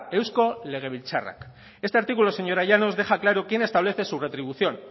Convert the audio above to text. eusko legebiltzarrak este artículo señora llanos deja claro quién establece su retribución